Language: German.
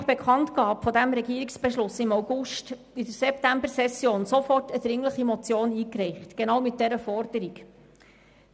Nach Bekanntgabe dieses Beschlusses im August haben wir in der Septembersession sofort eine dringliche Motion mit genau dieser Forderung eingereicht.